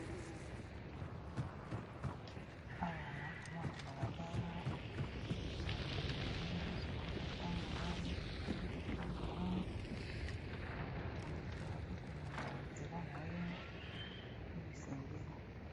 Awa alaa komona mbalaba bato ya lolenge nyonso bala kotambola mitokake kotambola moto na moto azokene na nzela na ye to esengeli